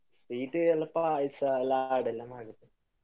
Sweet ಎಲ್ಲಾ ಪಾಯ್ಸ ಲಾಡು ಎಲ್ಲ ಮಾಡಿದ್ದೇವೆ.